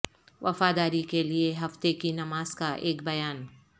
وفاداری کے لئے ہفتہ کی نماز کا ایک بیان